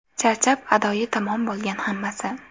Charchab, adoyi tamom bo‘lgan hammasi.